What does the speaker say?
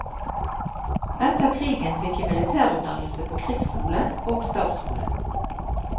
Etter krigen fikk jeg militærutdannelse på krigsskole og stabsskole.